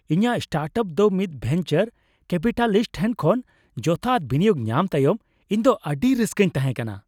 ᱤᱧᱟᱹᱜ ᱥᱴᱟᱨᱴᱟᱯ ᱫᱚ ᱢᱤᱫ ᱵᱷᱮᱱᱪᱟᱨ ᱠᱮᱯᱤᱴᱟᱞᱤᱥᱴ ᱴᱷᱮᱱ ᱠᱷᱚᱱ ᱡᱚᱛᱷᱟᱛ ᱵᱤᱱᱤᱭᱳᱜ ᱧᱟᱢ ᱛᱟᱭᱚᱢ ᱤᱧ ᱫᱚ ᱟᱹᱰᱤ ᱨᱟᱹᱥᱠᱟᱹᱨᱤᱧ ᱛᱟᱦᱮᱸ ᱠᱟᱱᱟ ᱾